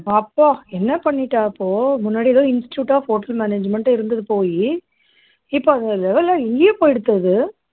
அப்பா என்ன பண்ணிட்டா இப்போ முன்னாடியெல்லாம் institute of hotel management ஆ இருந்துது போயி இப்போ அது வலை எங்கேயோ போயிடுத்து அது